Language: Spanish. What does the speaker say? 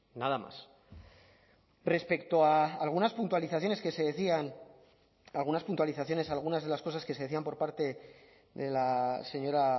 nada más respecto a algunas puntualizaciones que se decían algunas puntualizaciones algunas de las cosas que se decían por parte de la señora